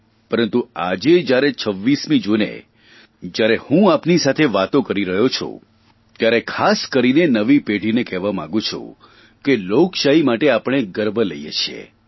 પરંતુ આજે જયારે 26મી જૂને જ્યારે હું આપની સાથે વાતો કરી રહ્યો છું ત્યારે ખાસ કરીને નવી પેઢીને કહેવા માંગુ છું કે લોકશાહી માટે આપણે ગર્વ લઇએ છીએ